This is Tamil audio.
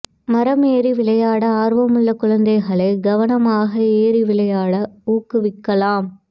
மரம் ஏறி விளையாட ஆர்வமுள்ள குழந்தைகளைக் கவனமாக ஏறி விளையாட ஊக்குவிக்கலாம்